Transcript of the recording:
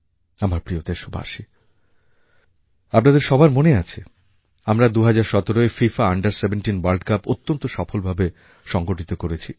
আমার প্রিয় দেশবাসী আপনাদের সবার মনে আছে আমরা ২০১৭য় ফিফা আন্ডার 17 ভোর্ল্ড CUPঅত্যন্ত সফলভাবে সংগঠিত করেছি